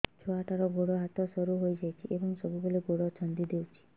ଛୁଆଟାର ଗୋଡ଼ ହାତ ସରୁ ହୋଇଯାଇଛି ଏବଂ ସବୁବେଳେ ଗୋଡ଼ ଛଂଦେଇ ହେଉଛି